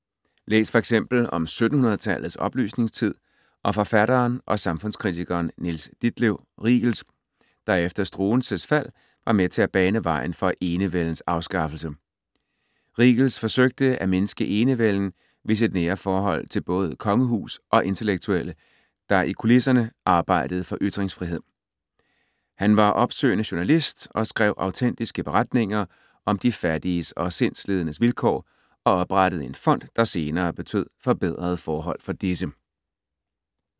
Læs f.eks. om 1700-tallets oplysningstid og forfatteren og samfundskritikeren, Niels Ditlev Riegels, der efter Struensees fald var med til at bane vejen for enevældens afskaffelse. Riegels forsøgte at mindske enevælden ved sit nære forhold til både kongehus og intellektuelle, der i kulisserne arbejdede for ytringsfrihed. Han var opsøgende journalist og skrev autentiske beretninger om de fattiges og sindslidendes vilkår og oprettede en fond, der senere betød forbedrede forhold for disse.